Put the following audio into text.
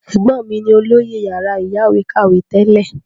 Ẹ̀gbọ́n mí ni olóyè yàrá ìyáwèékàwé tẹ́lẹ̀.